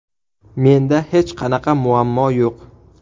Menda hech qanaqa muammo yo‘q.